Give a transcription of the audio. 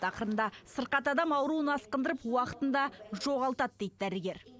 ақырында сырқат адам ауруын асқындырып уақытын да жоғалтады дейді дәрігер